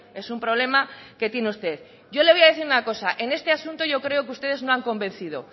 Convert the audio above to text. es un problema que tiene usted yo le voy a decir una cosa en este asunto yo creo que ustedes no han convencido